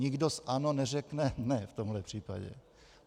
Nikdo z ANO neřekne ne v tomhle případě.